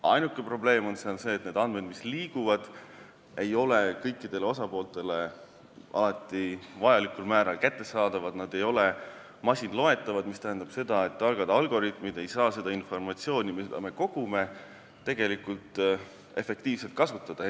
Ainuke probleem on see, et need andmed, mis liiguvad, ei ole kõikidele osapooltele alati vajalikul määral kättesaadavad, need ei ole masinloetavad, see aga tähendab, et targad algoritmid ei saa seda informatsiooni, mida me kogume, efektiivselt kasutada.